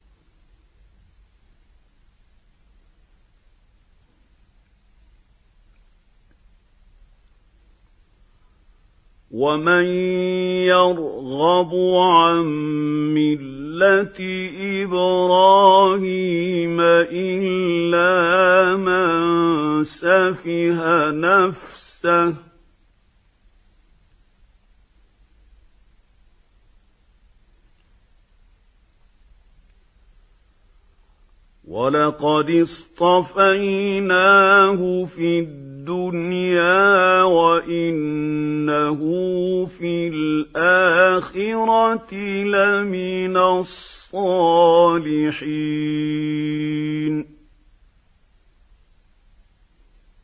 وَمَن يَرْغَبُ عَن مِّلَّةِ إِبْرَاهِيمَ إِلَّا مَن سَفِهَ نَفْسَهُ ۚ وَلَقَدِ اصْطَفَيْنَاهُ فِي الدُّنْيَا ۖ وَإِنَّهُ فِي الْآخِرَةِ لَمِنَ الصَّالِحِينَ